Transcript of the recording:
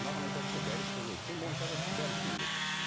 маған айтады да дәрет болу керек моншаға түсіп бәрін істеймін деп